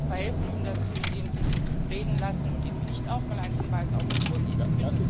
Und Sie verhelfen ihm dazu, indem Sie ihn reden lassen und ihm nicht auch mal einen Hinweis auf die Uhr geben.